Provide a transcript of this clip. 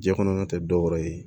Jiɲɛ kɔnɔna tɛ dɔwɛrɛ ye